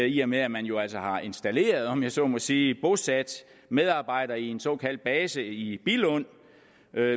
i og med at man jo altså har installeret om jeg så må sige bosat medarbejdere i en såkaldt base i billund